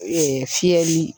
Ee fiyɛli